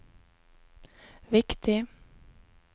viktig